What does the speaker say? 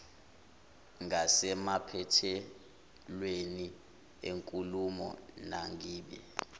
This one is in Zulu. ngasemaphethelweni enkulumo mangibike